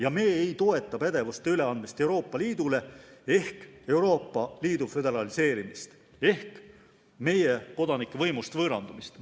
Aga me ei toeta pädevuse üleandmist Euroopa Liidule ehk Euroopa Liidu föderaliseerumist ehk meie kodanike võimust võõrandumist.